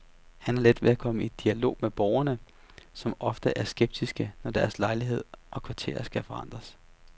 Han har let ved at komme i dialog med borgerne, som ofte er skeptiske, når deres lejlighed og kvarter skal forandres.